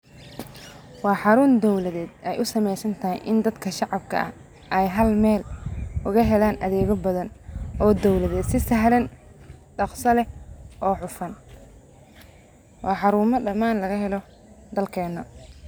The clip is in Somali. Waa xaruun dawladeed ay u sameysan tahay in dadka shacabka ah ay hal meel uga helaan adeegyo badan oo dawladeed si sahlan ,dhakhsa leh oo hufan ,waa xaruumo dhamaan laga helo dalkeena.